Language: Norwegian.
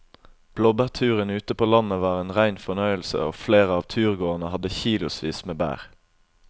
Blåbærturen ute på landet var en rein fornøyelse og flere av turgåerene hadde kilosvis med bær.